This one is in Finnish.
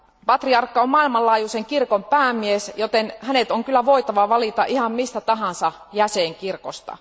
Patriarkka on maailmanlaajuisen kirkon päämies, joten hänet on kyllä voitava valita ihan mistä tahansa jäsenkirkosta.